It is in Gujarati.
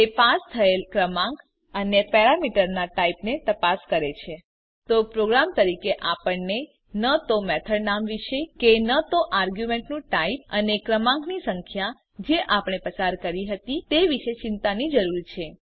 તે પાસ થયેલ ક્રમાંક અને પેરામીટરનાં ટાઇપને તપાસ કરે છે તો પ્રોગ્રામર તરીકે આપણને ન તો મેથડ નામ વિશે કે ન તો આર્ગ્યુંમેંટનું ટાઇપ અને ક્રમાંકની સંખ્યા જે આપણે પસાર કરી હતી તે વિષે ચિંતાની જરૂર છે